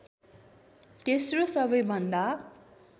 तेस्रो सबैभन्दा